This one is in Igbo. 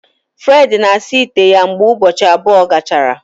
Fred na-asa ite ya mgbe ụbọchị abụọ gachara